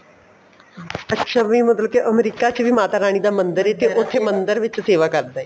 ਅੱਛਾ ਵੀ ਮਤਲਬ ਕੀ ਅਮਰੀਕਾ ਵਿੱਚ ਵੀ ਮਾਤਾ ਰਾਣੀ ਦਾ ਮੰਦਰ ਏ ਉੱਥੇ ਮੰਦਰ ਵਿੱਚ ਸੇਵਾ ਕਰਦਾ ਏ